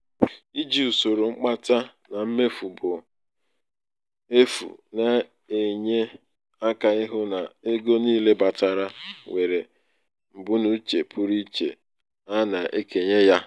iji usoro mkpata na mmefu bụ mmefu bụ efu na-enye aka ịhụ na ego niile batara nwere mbunuche pụrụ iche a na-ekenye ya.